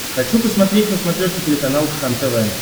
хочу посмотреть на смотрешке телеканал кхлм тв